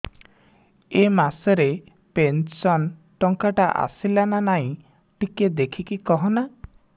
ଏ ମାସ ରେ ପେନସନ ଟଙ୍କା ଟା ଆସଲା ନା ନାଇଁ ଟିକେ ଦେଖିକି କହନା